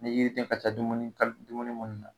Ni yiriden ka ca dumuni ka dumuni munnu na